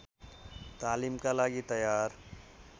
तालिमका लागि तयार